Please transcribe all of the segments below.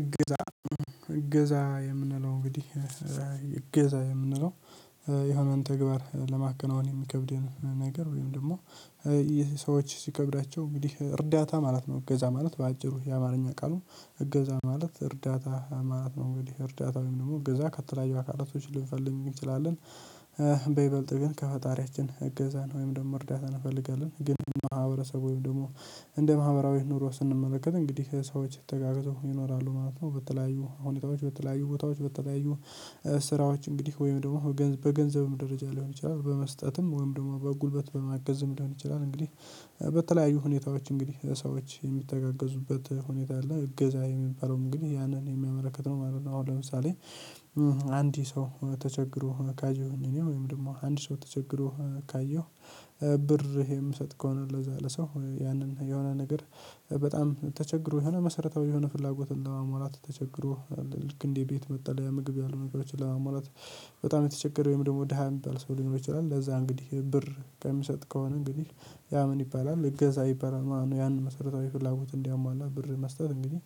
እገዛ እገዛ የምንለው እንግዲህ እገዛ የምንለው የሆነን ተግባር ለማከናወን የሚከብደን ነገር ወይም ደግሞ የሰዎች ሲከብዳቸው እንግዲህ እርዳታ ማለት ነው። እገዛ ማለት በአጭሩ የአማርኛ ቃሉ እገዛ ማለት እርዳታ ማለት ነው። እንግዲህ እርዳታ ወይም ደግሞ እገዛ ከተለያዩ አካላቶች ልንፈልግ እንችላለን። በይበልጥ ግን ከፈጣሪያችን እገዛን ወይም ደግሞ እርዳታን እንፈልጋለን ግን ማህበረሰቡ ወይም ደግሞ እንደ ማህበራዊ ኑሮ ስንመለከት እንግዲህ ሰዎች ተጋግዘው ይኖራሉ ማለት ነው። በተለያዩ ሁኔታዎች በተለያዩ ቦታዎች በተለያዩ ስራዎች እንግዲህ ወይም ደግሞ በገንዘብም ደረጃ ሊሆን ይችላል በመስጠትም ወይም ደግሞ በጉልበት በማገዝም ሊሆን ይችላል። እንግዲህ በተለያዩ ሁኔታዎች እንግዲህ ሰዎች የሚተጋገዙበት ሁኔታ አለ እገዛ የሚባለውም እንግዲ ያንን የሚያመለክት ነው ማለት ነው። አሁን ለምሳሌ አንድ ሰው ተቸግሮ ካየሁኝ እኔ ወይም ደግሞ አንድ ሰው ተቸግሮ ካየሁ። ብር የምሰጥ ከሆነ ለዛ ለሰው ያንን የሆነ ነገር በጣም ተቸግሮ የሆነ መሰረታዊ የሆነ ፍላጎት ለማሟላት ተቸግሮ አለ ልክ እንዴ ቤት መጠለያ ምግብ ያሉ ነገሮችን ለማሟላት። በጣም የተቸገረ ወይም ደግሞ ደሃ የሚባል ሰው ሊኖር ይችላል ለዛ እንግዲህ ብር ከሚሰጥ ከሆነ እንግዲህ ያ ምን ይባላል እገዛ ይባላል። ማነው ያንን መሰረታዊ ፍላጎት እንዲያሟላ ብር መስጠት እንግዲህ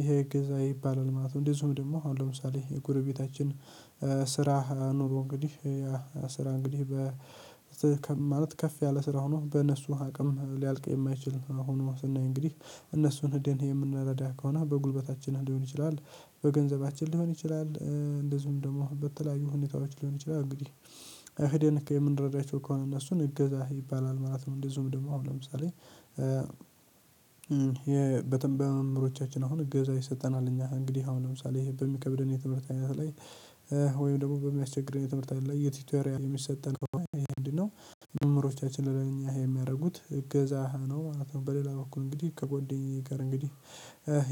ይሄ እገዛ ይባላል ማለት ነው። እንደዚሁም ደግሞ አሁን ለምሳሌ የጎረቤታችን ስራ ኑሮ እንግዲህ ስራ እንግዲህ በዚህ ማለት ከፍ ያለ ስራ ሆኖ በእነሱ አቅም ሊያልቅ የማይችል ነው ሆኖ ስናይ እንግዲህ እነሱን ሄደን የምንረዳ ከሆነ በጉልበታችን ሊሆን ይችላል። በገንዘባችን ሊሆን ይችላል። እንደዚሁም ደግሞ በተለያዩ ሁኔታዎች ሊሆን ይችላል እንግዲህ እህዴን የምንረዳቸው ከሆነ እነሱን እገዛ ይባላል ማለት ነው። እንደዚሁም ደግሞ አሁን ለምሳሌ የበተንበያ መምህሮቻችን አሁን እገዛ ይሰጠናል እኛ እንግዲህ አሁን ለምሳሌ ይሄ በሚከብደን የትምህርት አይነት ላይ ወይም ደግሞ በሚያስቸግር የትምህርት አይነት ላይ የቲቶሪያል የሚሰጠን ይሄ ምንድነው? መምምህሮቻችን ለእኛ የሚያደርጉት እገዛህ ነው ማለት ነው። በሌላ በኩል እንግዲህ ከጓደኛ ጋር እንግዲህ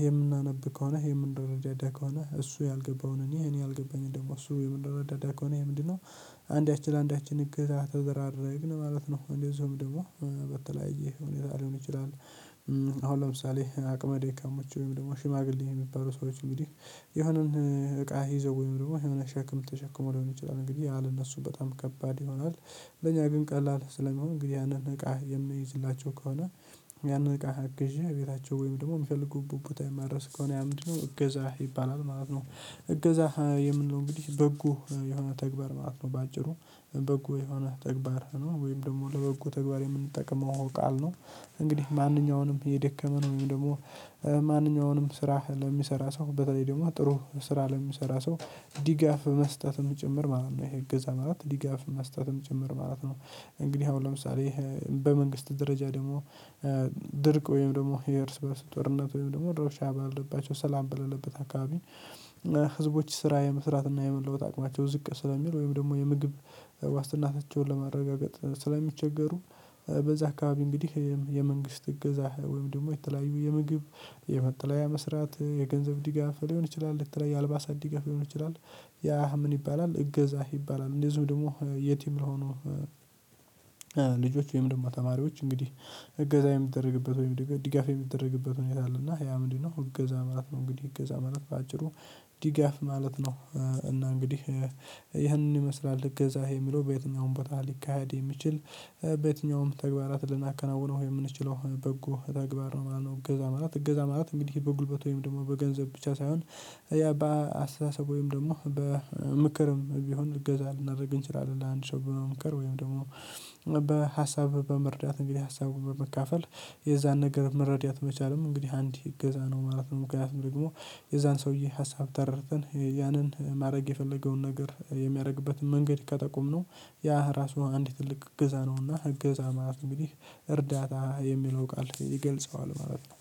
የምናነብ ከሆነ የምንረዳደድ ከሆነ እሱ ያልገባውን እኔ እኔ ያልገባኝምን ደግሞ እሱ የምንረዳዳ ከሆነ ይሄ ምንድነው? አንዳችን ለአንዳችን እገዛ ተደራረግን ማለት ነው። እንደዚሁም ደግሞ በተለያየ ሁኔታ ሊሆን ይችላል። አሁን ለምሳሌ አቅመ ደካሞዎች ወይም ደግሞ ሽማግሌ የሚባሉ ሰዎች እንግዲህ የሆነን እቃ ይዘው ወይም ደግሞ የሆነ ሸክም ተሸክሞው ሊሆን ይችላል እንግዲህ ያለ እነሱ በጣም ከባድ ይሆናል። ለእኛ ግን ቀላል ስለሚሆን እንግዲህ ያንን እቃ የምይዝላቸው ከሆነ። ያንን እቃ አግዤ እቤታቸው ወይም ደግሞ የሚፈልጉበት ቦታ የማደረስ ከሆነ ያ ምንድነው እገዛ ይባላል ማለት ነው። እገዛ የምንለው እንግዲህ በጎ የሆነ ተግባር ማለት ነው። በአጭሩ በጎ የሆነ ተግባር ነው ወይም ደግሞ ለበጎ ተግባር የምንጠቅመው ቃል ነው። እንግዲህ ማንኛውንም የደከመ ነው ወይም ደግሞ ማንኛውንም ስራ ለሚሰራ ሰው በተለይ ደግሞ ጥሩ ስራ ለሚሰራ ሰው ዲጋፍ መስጠትም ጭምር ማለት ነው። ይሄ እገዛ ማለት ዲጋፍ መስጠትም ጭምር ማለት ነው። እንግዲህ አሁን ለምሳሌ በመንግስት ደረጃ ደግሞ ድርቅ ወይም ደግሞ የእርስ በእርስ ጦርነት ወይም ደግሞ ረብሻ ባልባቸው ሰላም በሌለበት አካባቢ ህዝቦች ስራ የመስራት እና የመለወጥ አቅማቸው ዝቅ ስለሚል ወይም ደግሞ የምግብ ዋስትናታቸውን ለማረጋገጥ ስለሚቸገሩ። በዛ አካባቢ እንግዲህ የመንግስት እገዛ ወይም ደግሞ የተለያዩ የምግብ የመጠለያ መስራት የገንዘብ ዲጋፍ ሊሆን ይችላል የተለያዩ የአልባሳት ድጋፍ ሊሆን ይችላል። ያ ምን ይባላል እገዛ ይባላል። እንደዚሁ ደግሞ የቲም ለሆኑ ልጆች ወይም ደግሞ ተማሪዎች እንግዲህ እገዛ የሚደረግበት ወይም ድጋፍ የሚደረግበት ሁኔታ አለና ያ ምንድነው እገዛ ማለት ነው። እንግዲህ እገዛ ማለት በአጭሩ ዲጋፍ ማለት ነው። እና እንግዲህ ይህንን ይመስላል እገዛ የሚለው በየትኛውም ቦታ ሊካሄድ የሚችል በየትኛውም ተግባራትን ልናከናውነው የምንችለው በጎ ተግባር ነው ማለት ነው። እገዛ ማለት እገዛ ማለት እንግዲህ በጉልበት ወይም ደግሞ በገንዘብ ብቻ ሳይሆን ያ በአስተሳሰብ ወይም ደግሞ በምክርም ቢሆን እገዛ ልናደርግ እንችላለን። ለአንድ ሰው በመምከር ወይም ደግሞ በሀሳብ በመርዳት እንግዲህ ሀሳቡን በመካፈል የዛን ነገር መረዳት መቻልም እንግዲህ አንድ እገዛ ነው ማለት ነው። ምክንያቱም ደግሞ የዛን ሰውዬ ሀሳብ ተረድተን ያንን ማድረግ የፈለገውን ነገር የሚያደርግበትን መንገድ ከጠቆምነው ያ ራሱ አንድ ትልቅ እገዛ ነውና እገዛ ማለት እንግዲህ እርዳታ የሚለው ቃል ይገልጸዋል ማለት ነው።